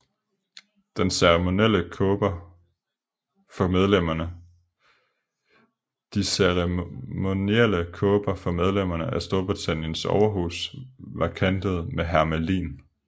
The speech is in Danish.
De ceremonielle kåber for medlemmerne af Storbritanniens overhus var kantet med hermelin